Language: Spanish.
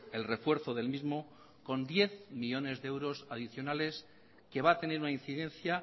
el refuerzo del mismo con diez millónes euros adicionales que va a tener una incidencia